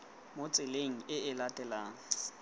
mo tseleng e e latelanang